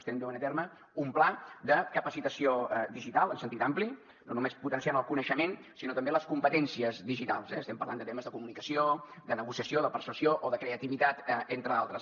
estem duent a terme un pla de capacitació digital en sentit ampli no només potenciant el coneixement sinó també les competències digitals eh estem parlant de temes de comunicació de negociació de persuasió o de creativitat entre d’altres